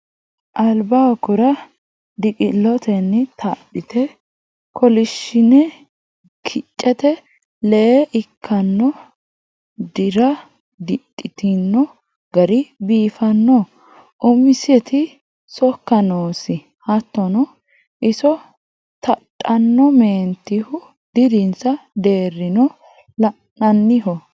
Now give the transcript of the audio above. Albaaho qura diqi'lotenni tadhite kolishshine kicete lee ikkano dira didhitino gari biifano umisiti sokka noosi hattono iso tadhano meentihu dirinsa deerino la'naniho.